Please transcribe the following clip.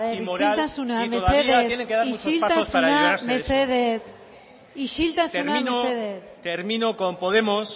y moral y todavía tienen que dar muchos pasos para ello a ver isiltasuna mesedez isiltasuna mesedez isiltasuna mesedez termino con podemos